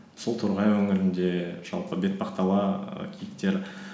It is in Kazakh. сол торғай өңірінде жалпы бетпақдала і киіктері